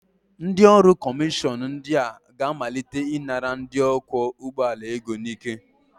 Ndị ọrụ kọmishọn ndị a ga-amalite ịnara ndị ọkwọ ụgbọala ego n'ike